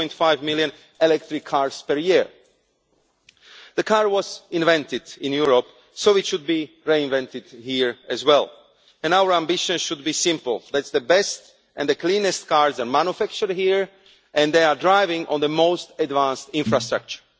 4.5 million electric cars per year. The car was invented in Europe, so it should be reinvented here as well, and our ambition should be simple that the best and the cleanest cars are manufactured here, and that they are driven on the most advanced infrastructure.